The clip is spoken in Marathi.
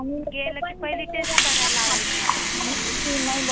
की नाही ब्वा सर्दी म्हणल्यावर कोरोंना च असेल की काय हो